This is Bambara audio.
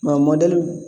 Mɛ mɔdɛli